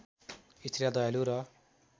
स्त्रीलाई दयालु र